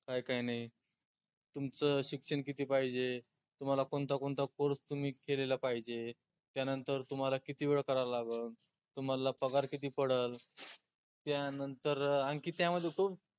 काय काय नाई तुमचं शिक्षन किती पाहिजे? तुम्हाला कोनता कोनता course तुम्ही केलेला पाहिजे? त्या नंतर तुम्हाला किती वेळ करायला लागन? तुम्हाला पगार किती पडल? त्या नंतर अं आनखी त्या मध्ये तो